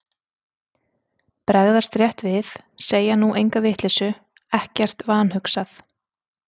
Bregðast rétt við, segja nú enga vitleysu, ekkert vanhugsað.